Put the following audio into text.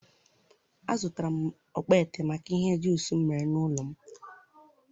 a zụtara m okpete, maka ihe ọ juiceụụ ihe ọ juiceụ ụ ụlọ m mere n'ụlọ